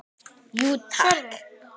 Jú, takk.